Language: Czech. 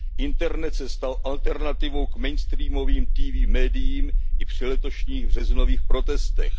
Internet se stal alternativou k mainstreamovým TV mediím i při letošních březnových protestech.